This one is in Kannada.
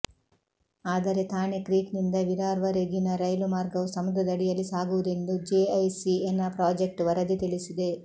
ಆದರೆ ಥಾಣೆ ಕ್ರೀಕ್ನಿಂದ ವಿರಾರ್ವರೆಗಿನ ರೈಲು ಮಾರ್ಗವು ಸಮುದ್ರದಡಿಯಲ್ಲಿ ಸಾಗುವುದೆಂದು ಜೆಐಸಿಎನ ಪ್ರಾಜೆಕ್ಟ್ ವರದಿ ತಿಳಿಸಿದೆ